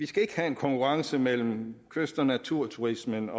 skal have en konkurrence mellem kyst og naturturismen